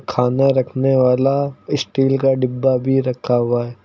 खाना रखने वाला स्टील का डिब्बा भी रखा हुआ है।